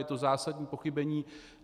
Je to zásadní pochybení.